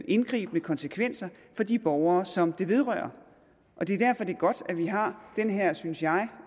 indgribende konsekvenser for de borgere som det vedrører det er derfor det er godt at vi har den her synes jeg